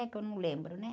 Que eu não lembro, né?